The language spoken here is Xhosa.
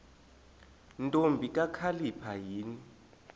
ntombi kakhalipha yini